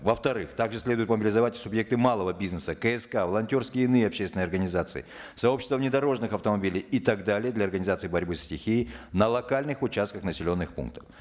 во вторых также следует мобилизовать субъекты малого бизнеса кск волонтерские и иные общественные организации сообщества внедорожных автомобилей и так далее для организации борьбы со стихией на локальных участках населенных пунктов